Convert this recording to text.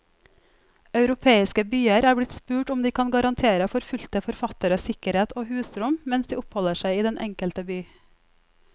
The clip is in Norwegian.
Europeiske byer er blitt spurt om de kan garantere forfulgte forfattere sikkerhet og husrom mens de oppholder seg i den enkelte by.